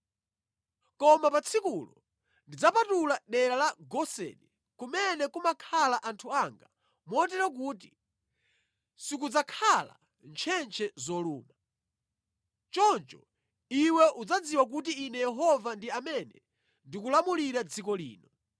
“Koma pa tsikulo ndidzapatula dera la Goseni, kumene kumakhala anthu anga, motero kuti sikudzakhala ntchentche zoluma. Choncho iwe udzadziwa kuti Ine Yehova ndi amene ndikulamulira dziko lino.